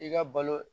I ka balo